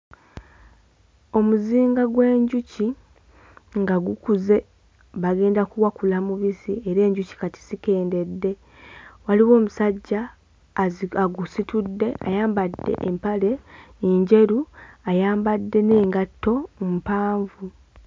Omuzinga gw'enjuki nga gukuze bagenda kuwakula mubisi era enjuki kati zikendedde waliwo omusajja azi agusitudde ayambadde empale enjeru ayambadde n'engatto mpanvu.